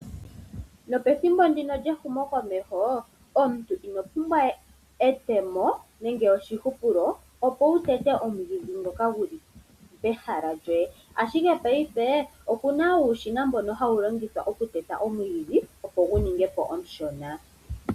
Nopethimbo ndino lyehumo komeho, omuntu ino pumbwa we etemo nenge oshihupulo opo wutete omwiidhi ngoka guli pehala lyoye, ashike paife opuna uushina mboka hawu longithwa okuteta omwiidhi opo guninge po omushona.